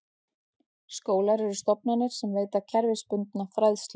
Skólar eru stofnanir sem veita kerfisbundna fræðslu.